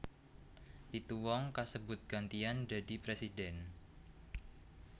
Pitu wong kasebut gantian dadi presiden